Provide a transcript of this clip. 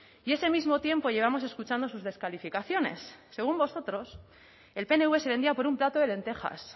y ese mismo tiempo llevamos escuchando sus descalificaciones según vosotros el pnv se vendía por un plato de lentejas